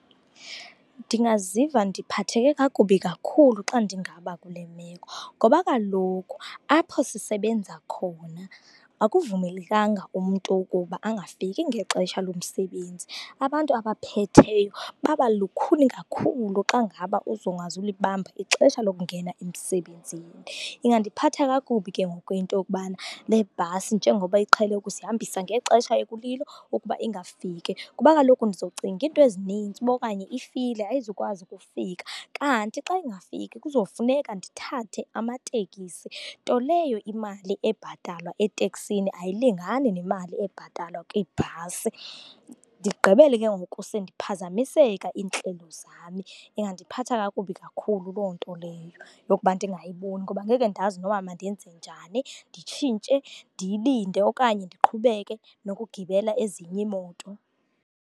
Ndingaziva ndiphatheke kakubi kakhulu xa ndingaba kule meko, ngoba kaloku apha sisebenza khona akuvumelekanga umntu ukuba angafiki ngexesha lomsebenzi. Abantu abaphetheyo babalukhuni kakhulu xa ngaba uzongazulibamba ixesha lokungena emsebenzini. Ingandiphatha kakubi ke ngoku into yokubana le bhasi njengoba iqhele ukusihambisa ngexesha ekulilo, ukuba ingafiki kuba kaloku ndizocinga izinto ezininzi ukuba okanye ifile, ayizukwazi ukufika. Kanti xa ingafiki kuzofuneka ndithathe amateksi, nto leyo imali ebhatalwa eteksini ayilingani nemali ebhatalwa kwiibhasi ndigqibele ke ngoku sendiphazamiseka iintlelo zami. Ingandiphatha kakubi kakhulu loo nto leyo yokuba ndingayiboni ngoba ngeke ndazi noba mandenze njani. Nditshintshe, ndiyilinde okanye ndiqhubeke nokugibela ezinye iimoto?